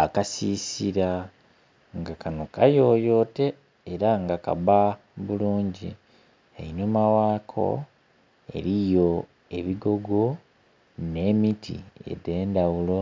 Akasisila nga kano kayoyote era nga kabba bulungi einhuma ghako eriyo ebigogo nhe miti edhendhaghulo,